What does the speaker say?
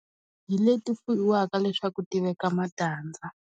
Hi leti ti fuyiwaka leswaku ti veka matandza.